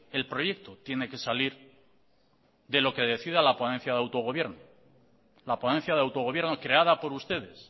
el proyecto tiene que salir de lo que decida la ponencia de autogobierno la ponencia de autogobierno creada por ustedes